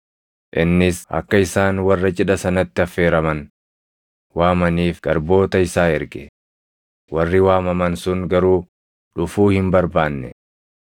Innis akka isaan warra cidha sanatti affeeraman waamaniif garboota isaa erge; warri waamaman sun garuu dhufuu hin barbaanne.